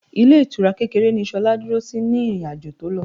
Ilé ìtura kékeré ni Ṣolá dúró sí ní ìrìn-àjò tó lọ.